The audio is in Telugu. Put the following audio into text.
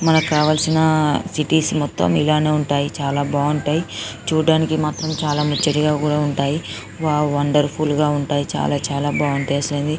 కావాల్సిన సిటీస్ మొత్తం ఇలానే ఉంటాయి చాల బావుంటాయి చుడానికి మాత్రం ముచ్చటగా ఉంటాయి వావ్ వండర్ఫుల్ గ ఉంటాయి చాల చాల బావుంటాయి